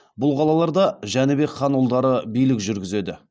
бұл қалаларда жәнібек хан ұлдары билік жүргізеді